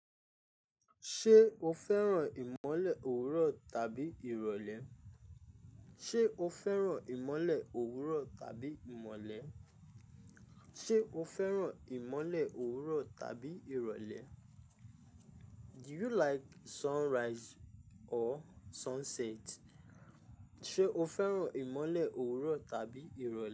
Ṣé o fẹ́ràn ìmọ̀lẹ̀ òwúrọ̀ tàbí ìrọ̀lẹ́? Ṣé o fẹ́ràn ìmọ̀lẹ̀ òwúrọ̀ tàbí ìmọ̀lẹ̀? Ṣé o fẹ́ràn ìmọ̀lẹ̀ òwúrọ̀ tàbí ìrọ̀lẹ́? Do you like sunrise or sunset? Ṣé o fẹ́ràn ìmọ̀lẹ̀ òwúrọ̀ tàbí ìrọ̀lẹ́?